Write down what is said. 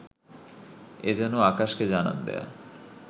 এ যেন আকাশকে জানান দেয়া